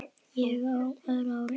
Ég er á öðru ári.